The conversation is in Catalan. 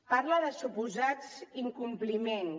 parla de suposats incompliments